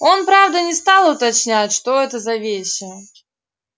он правда не стал уточнять что это за вещи